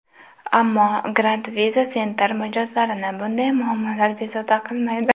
Ammo, Grand Visa Center mijozlarini bunday muammolar bezovta qilmaydi.